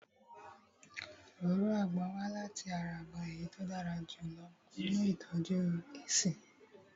Òróró àgbon wá láti ara àgbon èyí tí ó dára jù lọ nínu ìtọ́jú èéṣí